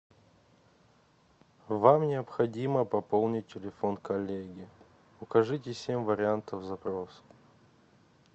вам необходимо пополнить телефон коллеги укажите семь вариантов запроса